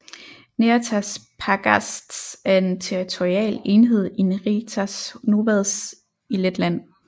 Neretas pagasts er en territorial enhed i Neretas novads i Letland